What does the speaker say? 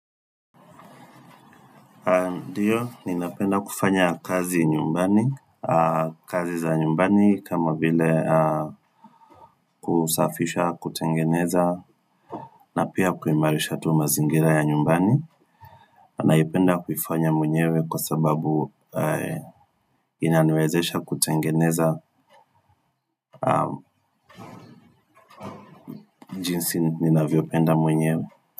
Ndiyo, ninapenda kufanya kazi nyumbani, kazi za nyumbani kama vile kusafisha, kutengeneza, na pia kuimarisha tu mazingira ya nyumbani. Naipenda kuifanya mwenyewe kwa sababu inaniwezesha kutengeneza jinsi ninavyopenda mwenyewe.